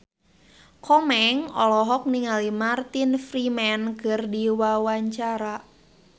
Komeng olohok ningali Martin Freeman keur diwawancara